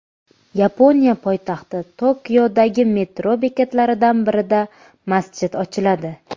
Yaponiya poytaxti Tokiodagi metro bekatlaridan birida masjid ochiladi.